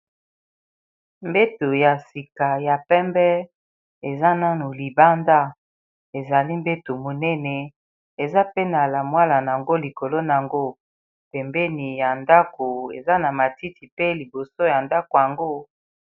mbeto ya sika ya pembe eza nano libanda ezali mbeto monene eza pene Wana likolo na yango pembeni ya ndako eza na matiti pe liboso ya ndako yango